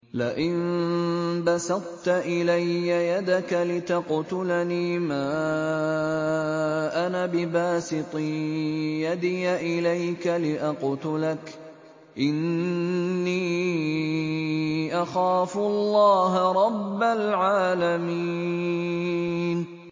لَئِن بَسَطتَ إِلَيَّ يَدَكَ لِتَقْتُلَنِي مَا أَنَا بِبَاسِطٍ يَدِيَ إِلَيْكَ لِأَقْتُلَكَ ۖ إِنِّي أَخَافُ اللَّهَ رَبَّ الْعَالَمِينَ